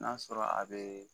N'a sɔrɔ a bɛ